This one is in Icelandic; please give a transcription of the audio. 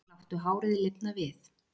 Láttu hárið lifna við